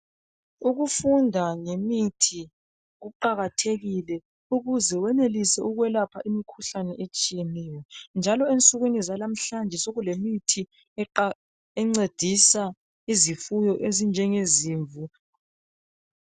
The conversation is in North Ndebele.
Ukufunda ngemithi kuqakathekile ukuze wenelise ukwelapha imikhuhlane etshiyeneyo. Njalo ensukwini zalamhlanje sokulemithi encedisa izifuyo ezinje ngezimvu.